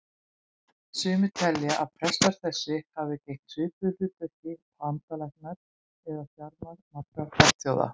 Sumir telja að prestar þessir hafi gegnt svipuðu hlutverki og andalæknar eða sjamanar margra fornþjóða.